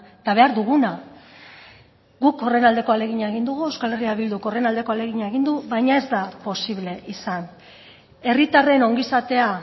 eta behar duguna guk horren aldeko ahalegina egin dugu euskal herria bilduk horren aldeko ahalegina egin du baina ez da posible izan herritarren ongizatea